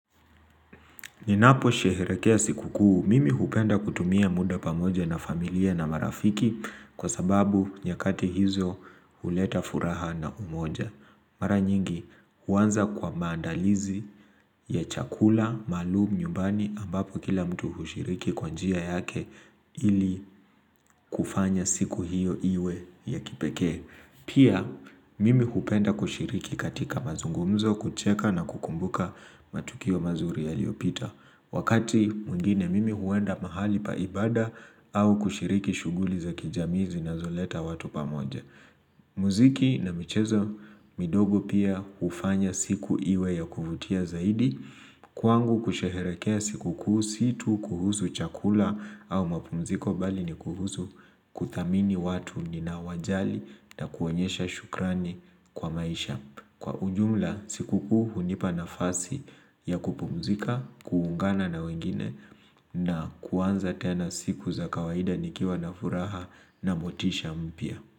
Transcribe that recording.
Ninaposherehekea siku kuu, mimi hupenda kutumia muda pamoja na familia na marafiki kwa sababu nyakati hizo huleta furaha na umoja. Mara nyingi, huanza kwa maandalizi ya chakula, maalum, nyumbani ambapo kila mtu hushiriki kwa njia yake ili kufanya siku hiyo iwe ya kipekee. Pia, mimi hupenda kushiriki katika mazungumzo kucheka na kukumbuka matukio mazuri yaliopita. Wakati mwingine mimi huenda mahali pa ibada au kushiriki shughuli za kijamii zinazoleta watu pamoja. Muziki na michezo midogo pia hufanya siku iwe ya kuvutia zaidi. Kwangu kusherehekea siku kuu sio tu kuhusu chakula au mapumziko bali ni kuhusu kuthamini watu ninaowajali na kuwaonyesha shukrani kwa maisha. Kwa ujumla, siku kuu hunipa nafasi ya kupumzika, kuungana na wengine na kuanza tena siku za kawaida nikiwa na furaha na motisha mpya.